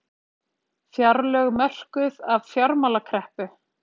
Fjárlög mörkuð af fjármálakreppu